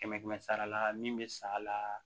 Kɛmɛ kɛmɛ sara la min bɛ san a la